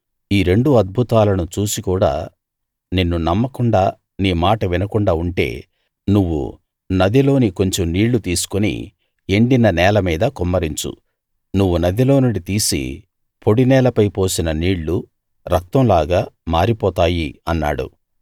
ఈ రెండు అద్భుతాలను చూసి కూడా నిన్ను నమ్మకుండా నీ మాట వినకుండా ఉంటే నువ్వు నదిలోని కొంచెం నీళ్ళు తీసుకుని ఎండిన నేల మీద కుమ్మరించు నువ్వు నదిలో నుండి తీసి పొడి నేలపై పోసిన నీళ్లు రక్తంలాగా మారిపోతాయి అన్నాడు